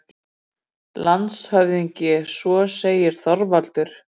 LANDSHÖFÐINGI: Svo segir Þorvaldur.